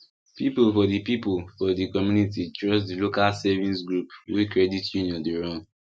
people for people for the community trust the local savings group wey credit union dey run